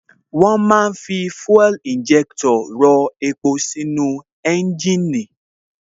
Wón ma ń fi fuel injector rọ epo sínú ẹ́ńjìnì